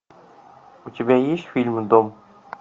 у тебя есть фильм дом